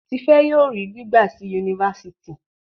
Tife yóò rí gbígba sí Yunifásitì